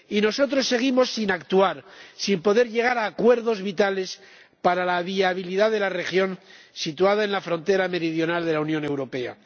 Y nosotros seguimos sin actuar, sin poder llegar a acuerdos vitales para la viabilidad de la región, situada en la frontera meridional de la Unión Europea.